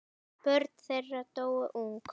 Börn þeirra dóu ung.